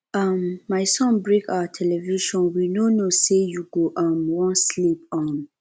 um my son break our television we no know say you go um wan sleep um